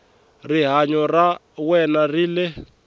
rihanyo ra wena ri le